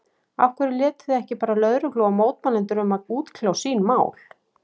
Af hverju létuð þið ekki bara lögreglu og mótmælendur um að útkljá sín mál?